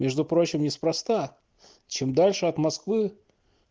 между прочим неспроста чем дальше от москвы